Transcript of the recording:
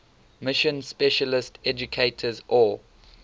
mission specialist educators or